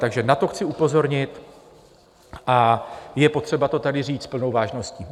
Takže na to chci upozornit a je potřeba to tady říct s plnou vážností.